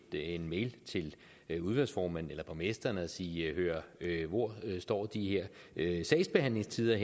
en mail til udvalgsformanden eller borgmesteren og sige hør hvor står de her sagsbehandlingstider